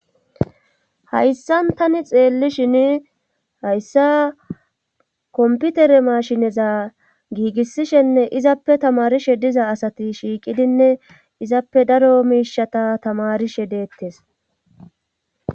Hayssan tani xeellishin hayssa komputere maashineza giigissishenne izappe tamarishe diza asati shiiqidinne izappe daro miishata tamarishe deettes